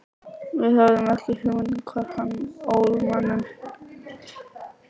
Við höfðum ekki hugmynd um hvar hann ól manninn.